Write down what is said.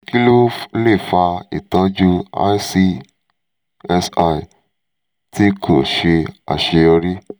kí ló lè fa ìtọ́jú icsi tí kò ṣe àṣeyọrí?